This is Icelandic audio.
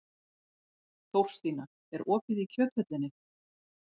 Þórstína, er opið í Kjöthöllinni?